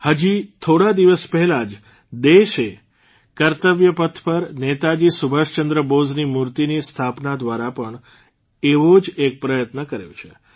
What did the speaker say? હજી થોડા દિવસ પહેલાં જ દેશે કર્તવ્યપથ પર નેતાજી સુભાષચંદ્ર બોઝની મૂર્તિની સ્થાપના દ્વારા પણ એવો જ એક પ્રયત્ન કર્યો છે